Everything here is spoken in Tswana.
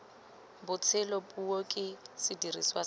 botshelo puo ke sediriswa se